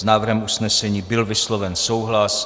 S návrhem usnesení byl vysloven souhlas.